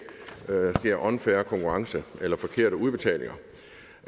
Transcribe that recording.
sker unfair konkurrence eller forkerte udbetalinger